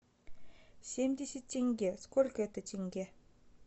семьдесят тенге сколько это тенге